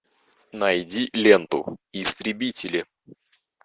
найди ленту истребители